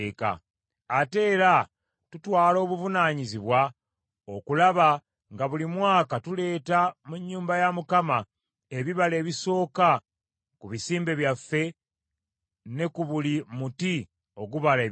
“Ate era tutwala obuvunaanyizibwa okulaba nga buli mwaka tuleeta mu nnyumba ya Mukama ebibala ebisooka ku bisimbe byaffe ne ku buli muti ogubala ebibala.